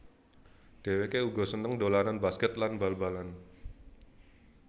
Dhewéké uga seneng dolanan basket lan bal balan